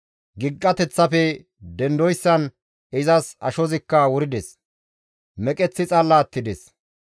Gilqateththappe dendoyssan izas ashozikka wurides; meqeththi xalla attides.